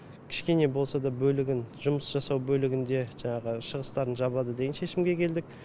кішкене болса да бөлігін жұмыс жасау бөлігінде жаңағы шығыстарын жабады деген шешімге келдік